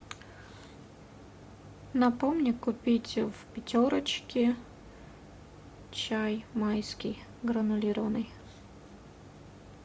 напомни купить в пятерочке чай майский гранулированный